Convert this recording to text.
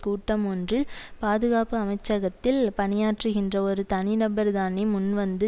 கூட்டம் ஒன்றில் பாதுகாப்பு அமைச்சகத்தில் பணியாற்றுகின்ற ஒரு தனிநபர் தானே முன்வந்து